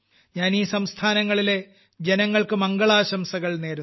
ഞാൻ ഈ സംസ്ഥാനങ്ങളിലെ ജനങ്ങൾക്ക് മംഗളാശംസകൾ നേരുന്നു